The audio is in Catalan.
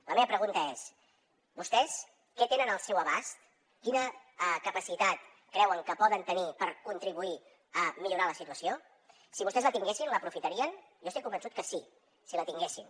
la meva pregunta és vostès què tenen al seu abast quina capacitat creuen que poden tenir per contribuir a millorar la situació si vostès la tinguessin l’aprofitarien jo estic convençut que sí si la tinguessin